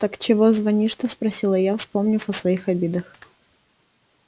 так чего звонишь-то спросила я вспомнив о своих обидах